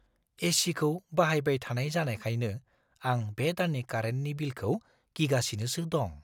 ए.सि.खौ बाहायबाय थानाय जानायखायनो आं बे दाननि कारेन्टनि बिलखौ गिगासिनोसो दं।